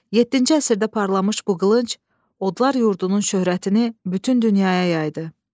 Yeddinci əsrdə parlamış bu qılınc, odlar yurdunun şöhrətini bütün dünyaya yaydı.